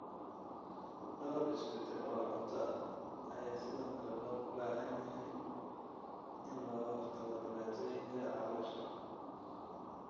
Dhowr isbeddel oo cunto ah ayaa sidoo kale loo baahan yahay si looga hortago dhibaatooyinka caloosha.